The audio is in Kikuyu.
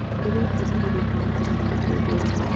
Ndĩrebundithirie kũnyitanĩra na andũ ngũrani.